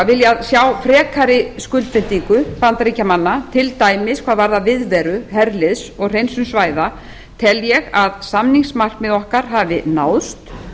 viljað sjá frekari skuldbindingu bandaríkjamanna til dæmis hvað varðar viðveru herliðs og hreinsun svæða tel ég að samningsmarkmið okkar hafi náðst